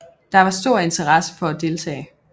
Der var stor interesse for at deltage